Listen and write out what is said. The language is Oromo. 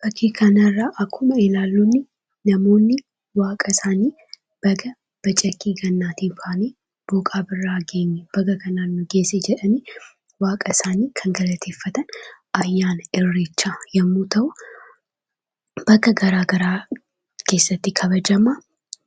Fakkii kana irraa akkuma ilaallu namoonni waaqa isaanii baga bacaqii gannaatii baanee booqa birraa geenye, baga kanaan nu geesse jedhanii waaqa isaanii kan galateeffatan; ayyaana Irreechaa yommuu ta'u, bakka garaagaraa keessatti kabajama.